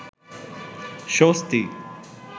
স্বস্তি